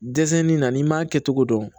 Dɛsɛnni na n'i m'a kɛ cogo dɔn